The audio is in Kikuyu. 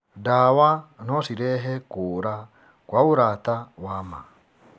Ndawa no cirehe kũũra kwa ũrata wa ma.